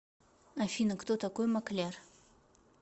афина кто такой маклер